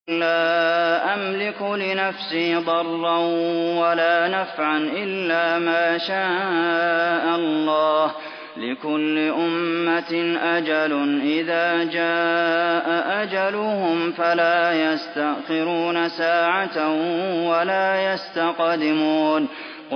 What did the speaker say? قُل لَّا أَمْلِكُ لِنَفْسِي ضَرًّا وَلَا نَفْعًا إِلَّا مَا شَاءَ اللَّهُ ۗ لِكُلِّ أُمَّةٍ أَجَلٌ ۚ إِذَا جَاءَ أَجَلُهُمْ فَلَا يَسْتَأْخِرُونَ سَاعَةً ۖ وَلَا يَسْتَقْدِمُونَ